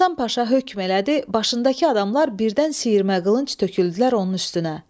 Hasan Paşa hökm elədi, başındakı adamlar birdən siyirmə qılınc töküldülər onun üstünə.